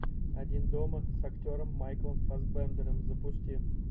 один дома с актером майклом фассбендером запусти